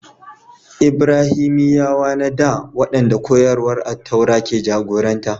Ibraniyawa na dā, waɗanda koyarwar Attaura ke jagoranta